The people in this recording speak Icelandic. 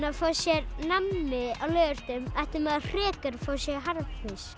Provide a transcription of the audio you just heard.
að fá sér nammi á laugardögum ætti maður frekar að fá sér harðfisk